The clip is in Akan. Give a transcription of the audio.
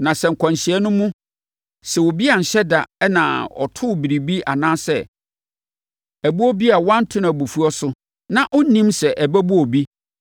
“Na sɛ nkwanhyia no mu, sɛ obi anhyɛ da na ɔtoo biribi anaa ɛboɔ bi a wanto no abufuo so, na ɔnnim sɛ ɛbɛbɔ obi